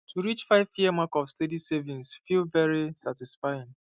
to reach fiveyear mark of steady savings feel very satisfying